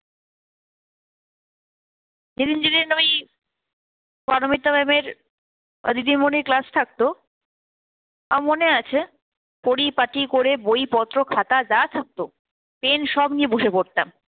যেদিন যেদিন আমি পারমিতা ma'am এর দিদিমনির class থাকতো আমার মনে আছে পরিপাটি করে বইপত্র খাতা যা থাকতো pen সব নিয়ে বসে পড়তাম.